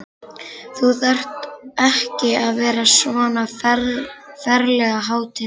Þú þarft ekki að vera svona ferlega hátíðlegur!